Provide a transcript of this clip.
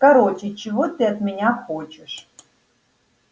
короче чего ты от меня хочешь